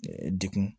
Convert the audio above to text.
Degun